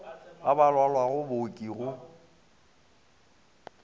ba ba lwalago booki go